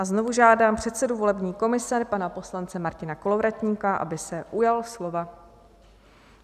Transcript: A znovu žádám předsedu volební komise, pana poslance Martina Kolovratníka, aby se ujal slova.